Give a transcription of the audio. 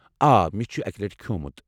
آ، مےٚ چھُ یہِ اکہِ لٹہِ کھیٚومُت۔